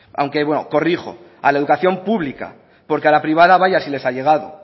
aunque bueno corrijo a la educación pública porque a la privada vaya si les ha llegado